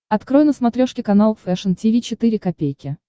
открой на смотрешке канал фэшн ти ви четыре ка